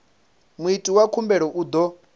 muiti wa khumbelo u ḓo